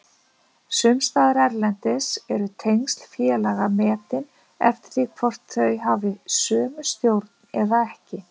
Sumstaðar erlendis eru tengsl félaga metin eftir því hvort þau hafi sömu stjórn eða ekki.